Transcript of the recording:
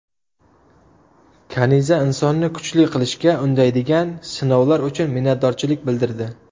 Kaniza insonni kuchli qilishga undaydigan sinovlar uchun minnatdorchilik bildirdi.